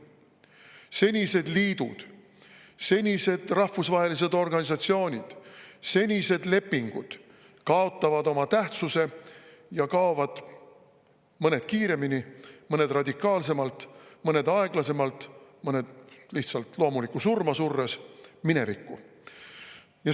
Senised liidud, senised rahvusvahelised organisatsioonid, senised lepingud kaotavad oma tähtsuse ja kaovad – mõned kiiremini, mõned radikaalsemalt, mõned aeglasemalt, mõned lihtsalt loomulikku surma surres – minevikku.